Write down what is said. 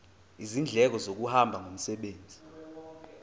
izindleko zokuhamba ngomsebenzi